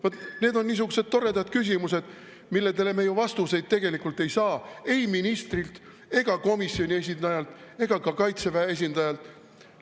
Vaat need on niisugused toredad küsimused, millele me ei saa ju tegelikult vastuseid ei ministrilt ega komisjoni esindajalt ega ka Kaitseväe esindajalt.